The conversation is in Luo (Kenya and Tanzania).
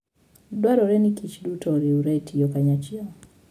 Dwarore ni kich duto oriwre e tiyo kanyachiel.